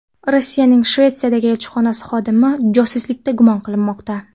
Rossiyaning Shvetsiyadagi elchixonasi xodimi josuslikda gumon qilinmoqda.